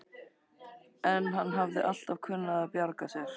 En hann hafði alltaf kunnað að bjarga sér.